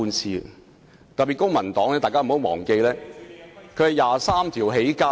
請大家不要忘記，公民黨是靠"二十三條"起家的......